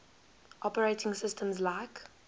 operating systems like